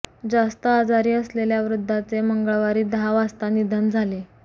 जास्त आजारी असलेल्या वृद्धाचे मंगळवारी दहा वाजता निधन झाले